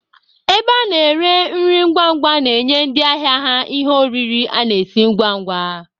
Ebe a na-ere nri ngwangwa na-enye ndị ahịa ha ihe oriri a na-esi ngwangwa.